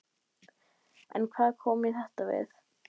En hvað kom mér þetta við?